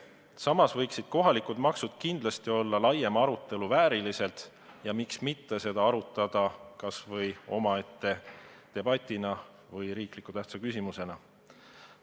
Kohalikud maksud väärivad kindlasti laiemat arutelu ja miks mitte seda teemat käsitleda omaette debatina või riikliku tähtsusega olulise küsimusena.